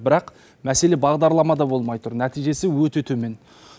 бірақ мәселе бағдарламада болмай тұр нәтижесі өте төмен